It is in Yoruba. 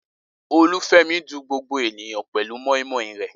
Olúfẹ́mi dun gbogbo ènìyàn pẹ̀lú moi moi rẹ̀.